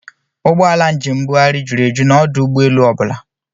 Ụgbọala njem mbugharị jụrụ eju n'ọdụ ụgbọelu ọ bụla